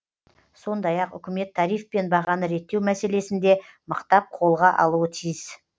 сондай ақ үкімет тариф пен бағаны реттеу мәселесін де мықтап қолға алуы тиіс